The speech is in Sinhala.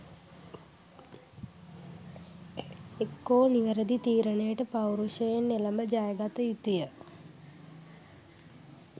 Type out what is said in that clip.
එක්කෝ නිවැරදි තීරණයට පෞරුෂයෙන් එළැඹ ජයගත යුතුය